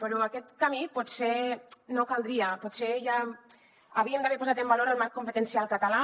però aquest camí potser no caldria potser ja havíem d’haver posat en valor el marc competencial català